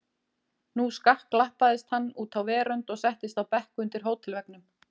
Nú skakklappaðist hann út á verönd og settist á bekk undir hótelveggnum.